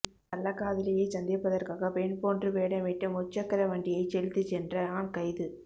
கள்ளக் காதலியைச் சந்திப்பதற்காக பெண் போன்று வேடமிட்டு முச்சக்கர வண்டியை செலுத்திச் சென்ற ஆண் கைது